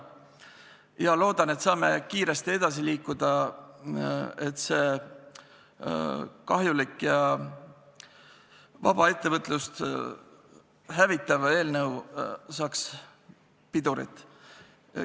Ma loodan, et me saame kiiresti edasi liikuda, et see kahjulik ja vaba ettevõtlust hävitav seadus saaks pidurit.